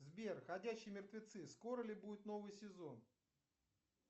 сбер ходячие мертвецы скоро ли будет новый сезон